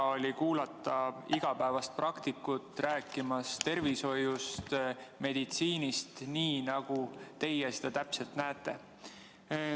Hea oli kuulata igapäevast praktikut rääkimas tervishoiust, meditsiinist, nii nagu teie seda täpselt näete.